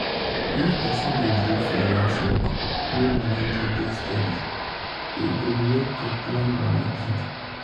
if person dey do freelance work wey money no dey steady e go make to plan moni hard.